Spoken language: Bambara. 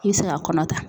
I bɛ se ka kɔnɔ ta